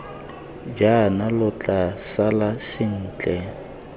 jaana lo tla sala sentle